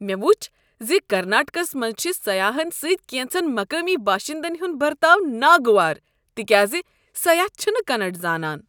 مےٚ وُچھ ز کرناٹکس منٛز چھ سیاحن سۭتۍ کینٛژن مقٲمی باشندٕن ہنٛد برتاو ناگوار تکیاز سیاح چھ نہٕ کننڑ زانان۔